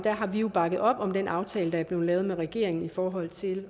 har vi jo bakket op om den aftale der er blevet lavet med regeringen i forhold til